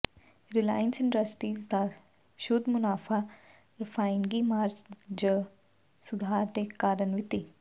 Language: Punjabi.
ਰਿਲਾਇੰਸ ਇੰਡਸਟਰੀਜ਼ ਦਾ ਸ਼ੁੱਧ ਮੁਨਾਫਾ ਰਿਫਾਇਨਰੀ ਮਾਰਜਨ ਚ ਸੁਧਾਰ ਦੇ ਕਾਰਨ ਵਿੱਤੀ